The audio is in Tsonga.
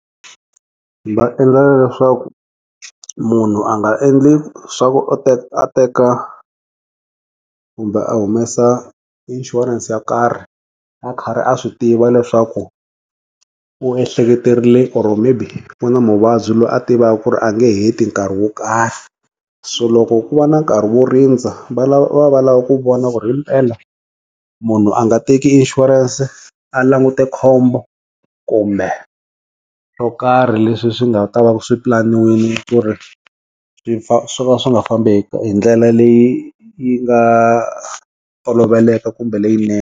Va endlela leswaku munhu a nga endli swa u teka a teka kumbe a humesa inshurense yo karhi, a karhi a swi tiva leswaku u ehleketerile or maybe u na muvabyi loyi a tivaka ku ri a nge heti nkarhi wo karhi, so loko ku va na nkarhi wo rindza va lava, va lava ku vona ku ri himpela munhu a nga teki inshurense a langute khombo, kumbe swo karhi leswi swi nga ta va swipulaniwile ku ri swi swo nga swi nga fambi hindlela leyi yi nga toloveleka kumbe leyinene.